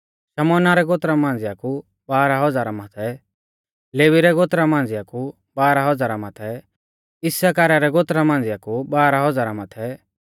शमौना रै गोत्रा मांझ़िया कु बाराह हज़ारा माथै लेवी रै गोत्रा मांझ़िया कु बाराह हज़ारा माथै इस्साकारा रै गोत्रा मांझ़िया कु बाराह हज़ारा माथै